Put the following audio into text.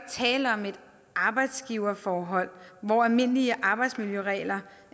tale om et arbejdsgiverforhold hvor almindelige arbejdsmiljøregler